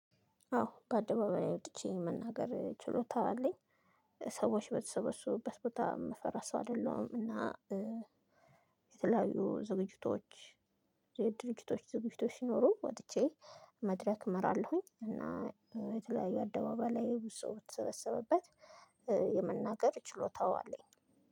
አዎ በአደባባይ ወጥቼ የመናገር ችሎታ አለኝ ሰዎች በተሰበሰቡበት ቦታ የምፈራ ሰው አይደለሁም። የተለያዩ ዝግጅቶች የድርጅቶች ዝግጅቶች ሲኖሩ ወጥቼ መድረክ እመራለሁኝ። እና የተለያዩ አደባባይ ላይ ብዙ ሰው በተሰበሰበበት የመናገር ችሎታው አለኝ።